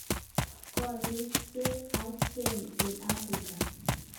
Korik cheng acheng eng afrika